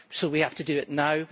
So we have to do it now.